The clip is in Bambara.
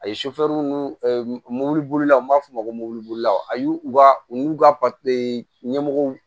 A ye nu mobilibolilaw n b'a f'o ma ko mobilibolilaw a y'u ka u y'u ka ɲɛmɔgɔw